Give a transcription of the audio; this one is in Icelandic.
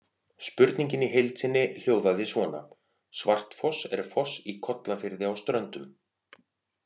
Spurningin í heild sinni hljóðaði svona: Svartfoss er foss í Kollafirði á Ströndum.